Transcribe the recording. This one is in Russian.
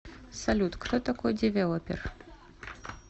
салют кто такой девелопер